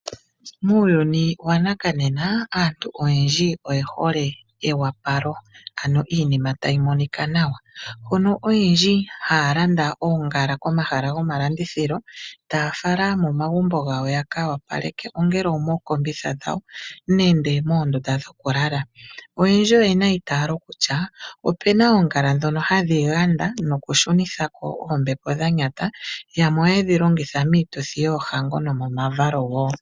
Muuyuni wanakanena aantu oyendji oyehole ewapalo, ano iinima tayimonika nawa, hono oyendji hayalanda oongala komahala gomalandithilo taya fala momagumbo gawo yakawapaleke ongele omookombitha dhawo nenge moondunda dhokulala. Oyendji oyena eyitaalo kutya opena oongala dhono hadhiganda nokutyunithako oombepo dhanyata yamwe ohaye dhilongitha miituthi yoohango nomomavalo wo.